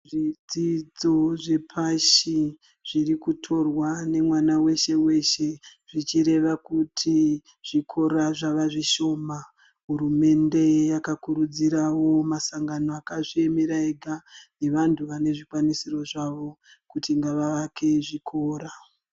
Zvidzidzo zvepashi zviri kutorwa nemwana weshe-weshe,,zvichireva kuti zvikora zvave zvishoma, hurumende yakakurudzirawo masangano akazviyemera ega, nevantu vanezvikwanisiro zvavo kuti ngavavake zvikora.